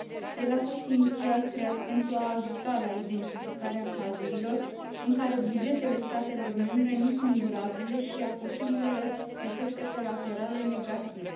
El a fost inițial creat pentru a ajuta la identificarea cazurilor în care bugetele statelor membre nu sunt durabile și a posibilelor efecte colaterale negative.